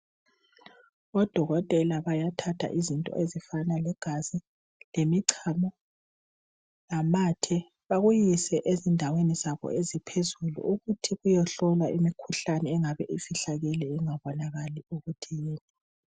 Odokotela bayathatha izinto ezifana legazi lemichomo lamathe bakuyise endaweni zabo eziphezulu ukuthi beyehlola imkhuhlane engabe ifihlakela ingabonakali ukuthi yiphi.